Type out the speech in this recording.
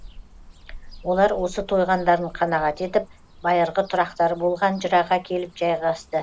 олар осы тойғандарын қанағат етіп байырғы тұрақтары болған жыраға келіп жайғасты